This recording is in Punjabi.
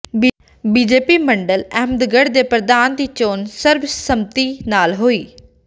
ਬੀਜੇਪੀ ਮੰਡਲ ਅਹਿਮਦਗੜ੍ਹ ਦੇ ਪ੍ਰਧਾਨ ਦੀ ਚੋਣ ਸਰਬ ਸੰਮਤੀ ਨਾਲ ਹੋਈ